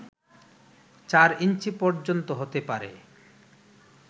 ৪ ইঞ্চি পর্যন্ত হতে পারে